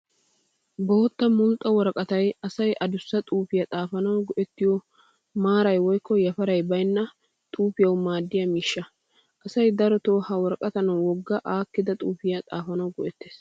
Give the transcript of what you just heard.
Bootta mulxxa woraqatay asay adussa xuufiyaa xaafanawu go"ettiyoo maaray woykko yafaray baynna xuufiyawu maadiyaa miishsha. Asay daroton ha woraqataa wogga aakkida xuufiyaa xaafanawu go"ettees